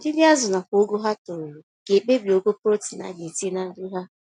Ọdịdị azụ nakwa ogo ha toruru, ga ekpebi ogo protein agetinye na nri ha